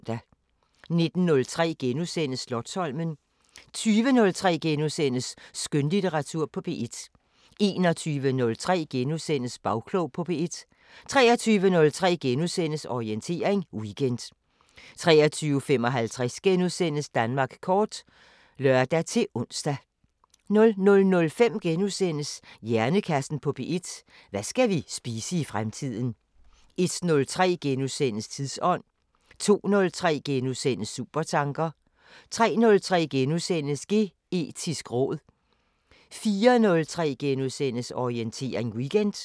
19:03: Slotsholmen * 20:03: Skønlitteratur på P1 * 21:03: Bagklog på P1 * 23:03: Orientering Weekend * 23:55: Danmark kort *(lør-ons) 00:05: Hjernekassen på P1: Hvad skal vi spise i fremtiden? * 01:03: Tidsånd * 02:03: Supertanker * 03:03: Geetisk råd * 04:03: Orientering Weekend *